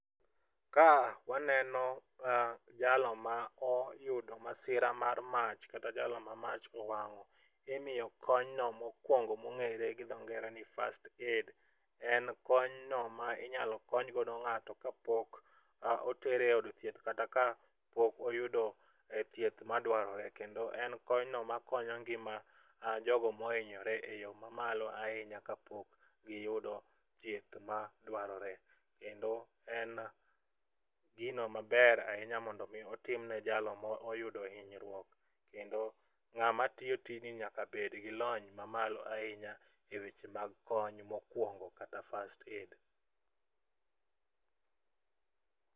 Ka waneno jalo ma oyudo masira mar mach kata jalo ma mach owang'o, imiyo konyno mokwongo mong'ere gi dho ngere ni first aid. En konyno ma inyalo kony no ng'ato kapok otere od thieth kata kapok oyudo thieth madwarore kendo en konyno makonyo ngima jogo mohinyore eyo mamalo ahinya kjapok giyudo thieth madwarore kendo en gino maber ahinya mondo i otimne jalo moyudo hinyruok. Kendo ng'ama tiyo tijni nyaka bed gi lony mamalo ahinya e weche mag kony mokwongo kata first aid